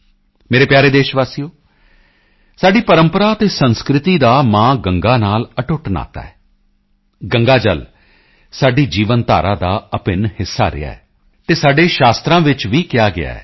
ਮੇਰੇ ਪਿਆਰੇ ਦੇਸ਼ਵਾਸੀਓ ਸਾਡੀ ਪਰੰਪਰਾ ਅਤੇ ਸੰਸਕ੍ਰਿਤੀ ਦਾ ਮਾਂ ਗੰਗਾ ਨਾਲ ਅਟੁੱਟ ਨਾਤਾ ਹੈ ਗੰਗਾ ਜਲ ਸਾਡੀ ਜੀਵਨ ਧਾਰਾ ਦਾ ਅਭਿੰਨ ਹਿੱਸਾ ਰਿਹਾ ਹੈ ਅਤੇ ਸਾਡੇ ਸ਼ਾਸਤਰਾਂ ਵਿੱਚ ਵੀ ਕਿਹਾ ਗਿਆ ਹੈ